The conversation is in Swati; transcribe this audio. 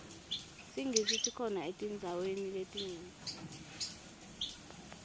singisi sikhona etindzaweni letinyenti